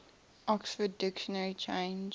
oxford dictionary changed